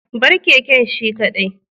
bar keken shi kadai